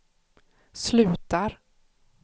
slutar